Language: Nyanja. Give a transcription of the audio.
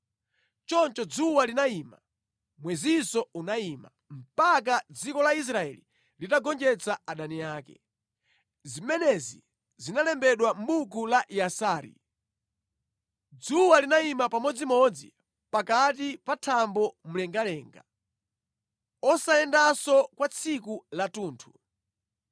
Choncho dzuwa linayima, mwezinso unayima, mpaka dziko la Israeli litagonjetsa adani ake. Zimenezi zalembedwa mʼbuku la Yasari. Dzuwa linayima pamodzimodzi pakati pa thambo mlengalenga, osayendanso kwa tsiku lathunthu.